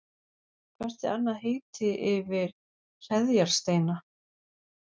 Hvert er annað heiti yfir hreðjarsteina?